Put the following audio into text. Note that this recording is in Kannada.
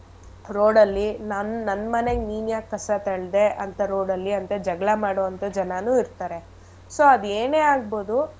Road ಅಲ್ಲಿ ನನ್~ ನಮ್ಮನೆಗ್ ನೀನ್ ಯಾಕ್ ಕಸ ತಳ್ದೆ ಅಂತ road ಅಲ್ಲಿ ಅಂತ ಜಗಳ ಮಾಡೋಂಥ ಜನನೂ ಇರ್ತರೆ so ಅದೇನೇ ಆಗ್ಬೋದು.